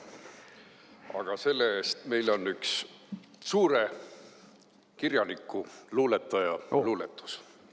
Aga see-eest meil on üks suure kirjaniku, luuletaja luuletus.